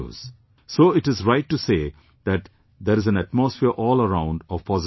So it is right to say that there is an atmosphere all around of positive news